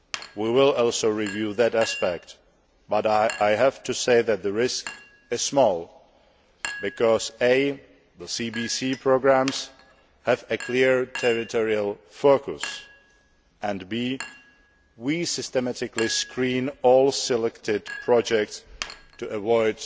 We will also review that aspect, but I have to say that the risk is small because the CBC programmes have a clear territorial focus and we systematically screen all the selected projects to avoid